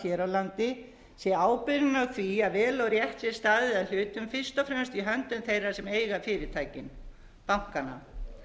hér á landi sé ábyrgðin á því að vel og rétt sé staðið að hlutum fyrst og fremst í höndum þeirra sem eiga fyrirtækin bankanna